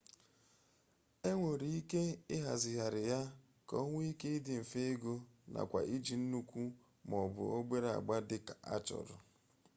e nwere ike ịhazigharị ya ka o nwee ike dị mfe ịgụ nakwa iji nnukwu ma ọ bụ obere agba dị ka achọrọ